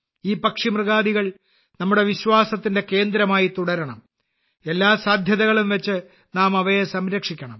ഈ പക്ഷി മൃഗാദികൾ നമ്മുടെ വിശ്വാസത്തിന്റെ കേന്ദ്രമായി തുടരണം എല്ലാ സാധ്യതകളും വച്ച് നാം അവയെ സംരക്ഷിക്കണം